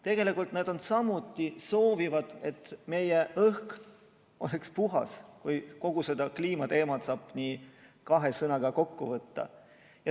Tegelikult nad samuti soovivad, et meie õhk oleks puhas, kui kogu selle kliimateema saab niimoodi kahe sõnaga kokku võtta.